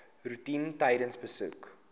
roetine tydens besoeke